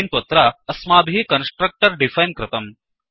किन्त्वत्र अस्माभिः constructor define कृतम्